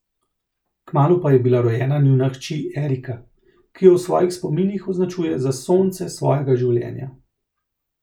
Kmalu pa je bila rojena njuna hči Erika, ki jo v svojih spominih označuje za sonce svojega življenja.